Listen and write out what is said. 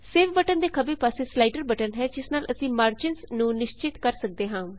save button ਦੇ ਖੱਬੇ ਪਾਸੇ ਸਲਾਇਡਰ ਬਟਨ ਹੈ ਜਿਸ ਨਾਲ ਅਸੀਂ ਮਾਰਜਿੰਸ ਨੂੰ ਨਿਸ਼ਚਿਤ ਕਰ ਸਕਦੇ ਹਾਂ